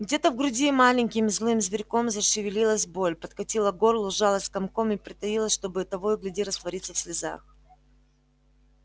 где-то в груди маленьким злым зверьком зашевелилась боль подкатила к горлу сжалась комком и притаилась чтобы того и гляди раствориться в слезах